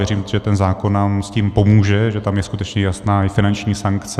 Věřím, že ten zákon nám s tím pomůže, že tam je skutečně jasná i finanční sankce.